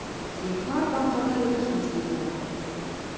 екі арба қатар өткендей болады